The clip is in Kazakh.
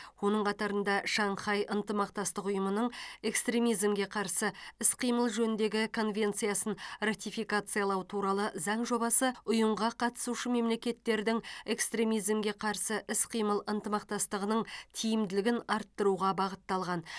оның қатарында шанхай ынтымақтастық ұйымының экстремизмге қарсы іс қимыл жөніндегі конвенциясын ратификациялау туралы заң жобасы ұйымға қатысушы мемлекеттердің экстремизмге қарсы іс қимыл ынтымақтастығының тиімділігін арттыруға бағытталған